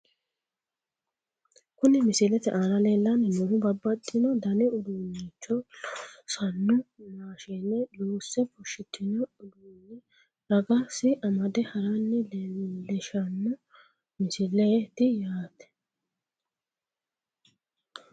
Kuni misilete aana leellanni noohu babbaxino dani uduunnicho loossanno maashine loosse fushshitino uduunni ragasi amade haranna leelishshanno misileeti yate .